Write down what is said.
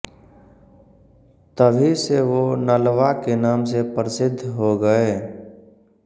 तभी से वो नलवा के नाम से प्रसिद्ध हो गये